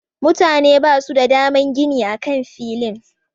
Mutane basu da daman gini a kan filin.